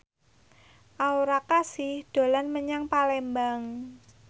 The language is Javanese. Aura Kasih dolan menyang Palembang